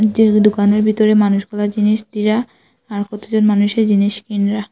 যে দোকানের ভিতরে মানুষগুলা জিনিস দিরা আর কতজন মানুষে জিনিস কিনরা।